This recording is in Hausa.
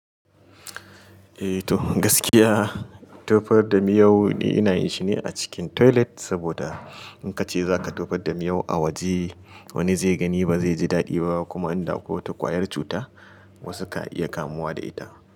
Eh toh gaskiya tofar da miyau ina yin shi ne a cikin toilet, saboda in ka ce za ka tofar da miyau a waje wani zai gani ba zai ji daɗi ba kuma inda akwai wata ƙwayar cuta wasu ka iya kamuwa da ita.